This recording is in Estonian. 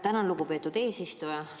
Tänan, lugupeetud eesistuja!